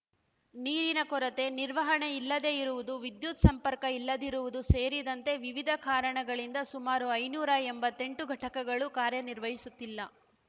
ನೀರಿನ ಕೊರತೆ ನಿರ್ವಹಣೆ ಇಲ್ಲದೇ ಇರುವುದು ವಿದ್ಯುತ್‌ ಸಂಪರ್ಕ ಇಲ್ಲದಿರುವುದು ಸೇರಿದಂತೆ ವಿವಿಧ ಕಾರಣಗಳಿಂದ ಸುಮಾರು ಐನೂರಾ ಎಂಬತ್ತೆಂಟು ಘಟಕಗಳು ಕಾರ್ಯನಿರ್ವಹಿಸುತ್ತಿಲ್ಲ